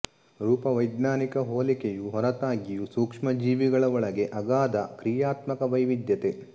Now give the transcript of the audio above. ರೂಪವೈಜ್ಞಾನಿಕ ಹೋಲಿಕೆಯು ಹೊರತಾಗಿಯೂ ಸೂಕ್ಷ್ಮಜೀವಿಗಳ ಒಳಗೆ ಅಗಾಧ ಕ್ರಿಯಾತ್ಮಕ ವೈವಿಧ್ಯತೆ